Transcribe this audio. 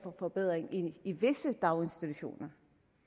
forbedring i visse daginstitutioner